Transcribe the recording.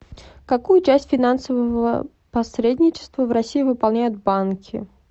какую часть финансового посредничества в россии выполняют банки